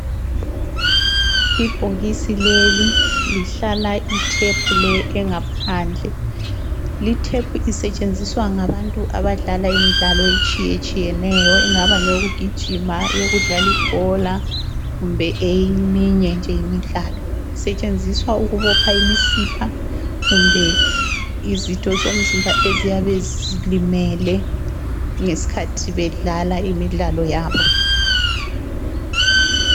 Ibhokisi leli lihlala itape le engaphandle. Li tape isetshenziswa ngabantu abadlala imidlalo etshiyetshiyeneyo engaba ngeyokugijima bedlala ibhola kumbe eminye nje imidlalo. Isetshenziswa ukubopha imisipha eyabe ilimele ngesikhathi bedlala imidlalo yabo.